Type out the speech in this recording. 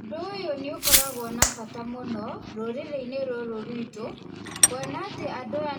Ũndũ ũyũ nĩ ũkoragwo n bata mũno rũrĩrĩ-inĩ rũrũ ruitũ, kwona atĩ